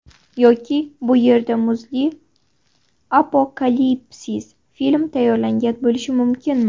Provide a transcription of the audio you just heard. Yoki bu yerda muzli apokalipsis film tayyorlangan bo‘lishi mumkinmi?